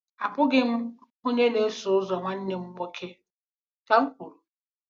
“Abụghị m onye na-eso ụzọ nwanne m nwoke,” ka m kwuru.